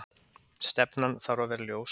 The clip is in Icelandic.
Stefnan þarf að vera ljós